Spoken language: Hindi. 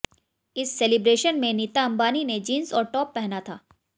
इस सेलिब्रेशन में नीता अंबानी ने जीन्स और टॉप पहना था